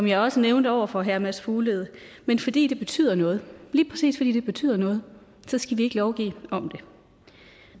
jeg også nævnte over for herre mads fuglede men fordi det betyder noget lige præcis fordi det betyder noget skal vi ikke lovgive om det